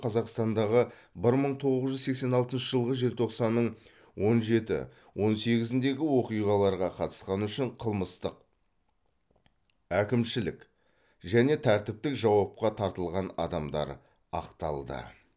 қазақстандағы бір мың тоғыз жүз сексен алтыншы жылғы желтоқсанның он жеті он сегізіндегі оқиғаларға қатысқаны үшін қылмыстық әкімшілік және тәртіптік жауапқа тартылған адамдар ақталды